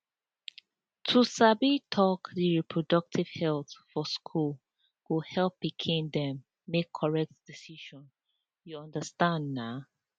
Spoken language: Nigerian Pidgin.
to sabi talk di reproductive health for school go help pikin dem make correct decision you understand na